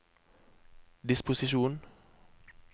disposisjon